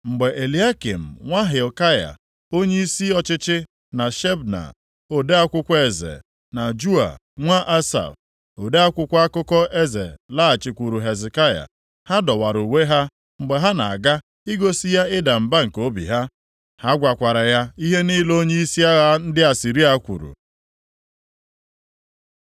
Mgbe Eliakịm nwa Hilkaya, onyeisi ọchịchị, na Shebna ode akwụkwọ eze, na Joa nwa Asaf, ode akwụkwọ akụkọ eze laghachikwuuru Hezekaya, ha dọwara uwe ha mgbe ha na-aga igosi ya ịda mba nke obi ha. Ha gwakwara ya ihe niile onyeisi agha ndị Asịrịa kwuru.